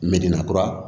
kura